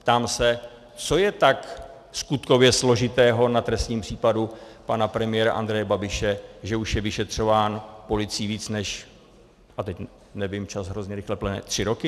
Ptám se, co je tak skutkově složitého na trestním případu pana premiéra Andreje Babiše, že už je vyšetřován policií víc, než - a teď nevím, čas hrozně rychle plyne - tři roky?